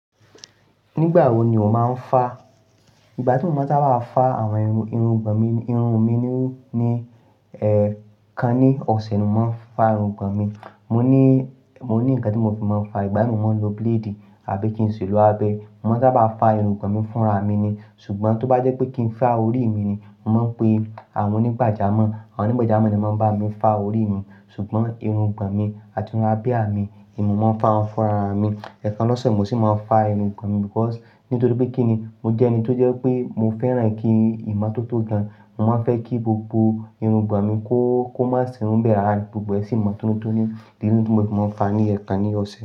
Nígbà wo ni o máa ń fa? Ìgbà tí mo bá máa bá fa àwọn irun, irungbọ̀n mi, irun mi ni, ẹ́, kan ní ọ̀sẹ̀ ni mo máa ń fa irungbọ̀n mi. Mo ní, mo ní ǹkan tí mo fi máa ń fa. Ìgbà mìí mo máa ń lo blade àbí kí n ṣe lo abẹ. Mo máa ń sábà fa irungbọ̀n mi fúnra mi ni. Ṣùgbọ́n tó bá jẹ́ pé kí n fa orí mi ni, mo máa ń pe àwọn onígbàjámọ̀. Àwọn onígbàjámọ̀ ni tí máa ń bá mi fa orí mi. Ṣùgbọ́n irungbọ̀n mi àti irun abìá mi, èmi mo máa ń fa wọn fúnra mi. Ẹ̀ẹ̀kan lọ́sẹ̀ mo sì máa ń fa irun mi because nítorí pé kí ni? Mo jẹ́ ẹni tó jẹ́ pé mo fẹ́ràn kí ìmọ̀ tó tó gan. Mo máa ń fẹ́ kí gbogbo irun gbọ̀n mi kó, kó má sì ń bẹ̀rẹ̀ rárìn. Gbogbo ẹṣin ìmo tótó ni, nìyẹn ni tí mo fi máa ń fa ní ẹ̀ẹ̀kan ní ọ̀sẹ̀